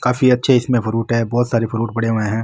काफी अच्छे इसमें फ्रूट है बहुत सारे फ्रूट पड़े हुए हैं।